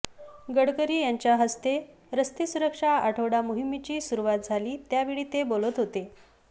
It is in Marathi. गडकरी यांच्या हस्ते रस्ते सुरक्षा आठवडा मोहिमेची सुरुवात झाली त्यावेळी ते बोलत होते